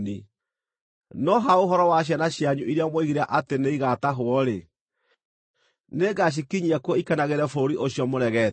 No ha ũhoro wa ciana cianyu iria mwoigire atĩ nĩ igaatahwo-rĩ, nĩngamakinyia kuo makenagĩre bũrũri ũcio mũregete.